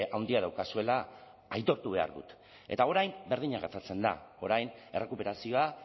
handia daukazuela aitortu behar dut eta orain berdina gertatzen da orain errekuperazioa